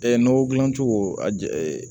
nɔgɔ dilan cogo a ja